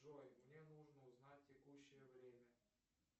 джой мне нужно узнать текущее время